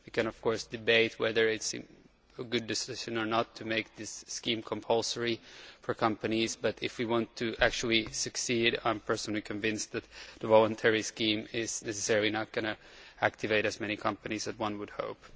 We can of course debate whether it is a good decision or not to make this scheme compulsory for companies, but if we want to actually succeed, I am convinced that the voluntary scheme is not necessarily going to activate as many companies as one would hope.